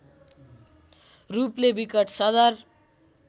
रूपले विकट सदर